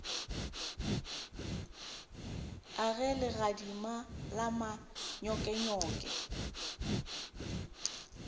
a ge legadima la manyokenyoke